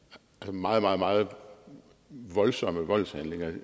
meget meget meget voldsomme voldshandlinger